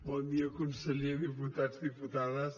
bon dia conseller diputats diputades